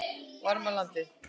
Varmalandi